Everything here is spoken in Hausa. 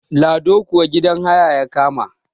lado kuwa gidan haya ya kama